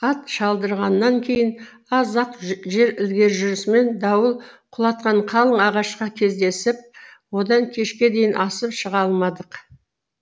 ат шалдырғаннан кейін аз ақ жер ілгері жүрісімен дауыл құлатқан қалың ағашқа кездесіп одан кешке дейін асып шыға алмадық